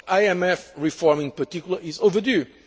IMF reform, in particular, is overdue.